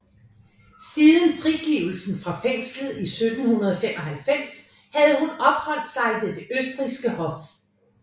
Siden frigivelsen fra fængslet i 1795 havde hun opholdt sig ved det østrigske hof